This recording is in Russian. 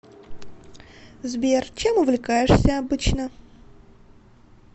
сбер чем увлекаешься обычно